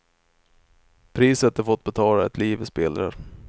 Priset de fått betala är ett liv i spillror.